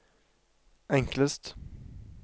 enklest